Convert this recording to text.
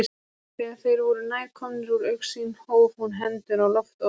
Þegar þeir voru nær komnir úr augsýn hóf hún hendur á loft og veifaði.